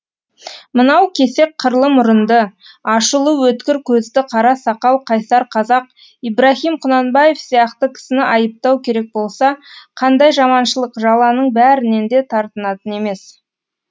мынау кесек қырлы мұрынды ашулы өткір көзді қара сақал қайсар қазақ ибрагим құнанбаев сияқты кісіні айыптау керек болса қандай жаманшылық жаланың бәрінен де тартынатын емес